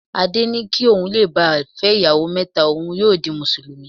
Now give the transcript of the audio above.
Adé ni kí ohun le bà lé fẹ́ ìyàwó mẹ́ta, ohun yóò di Mùsùlùmí.